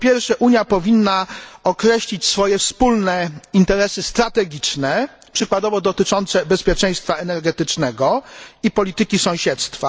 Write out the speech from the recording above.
Po pierwsze, Unia powinna określić swoje wspólne interesy strategiczne, przykładowo dotyczące bezpieczeństwa energetycznego i polityki sąsiedztwa.